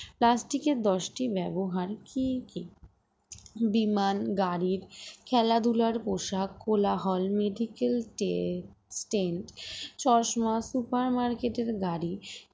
plastic এর দশটি টি ব্যবহার কি কি বিমান গাড়ির খেলাধুলার পোশাক কোলা হল medical tra~ train চশমা super market এর গাড়ি